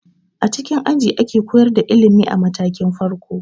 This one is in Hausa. A cikin aji ake koyar da ilimi a matakin farko.